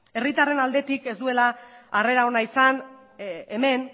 herritarren aldetik ez duela harrera ona izan hemen